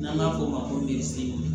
N'an b'a fɔ o ma ko